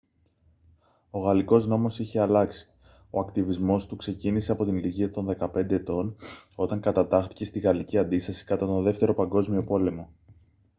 ο γαλλικός νόμος είχε αλλάξει ο ακτιβισμός του ξεκίνησε από την ηλικία των 15 ετών όταν κατατάχθηκε στη γαλλική αντίσταση κατά τον δεύτερο παγκόσμιο πόλεμο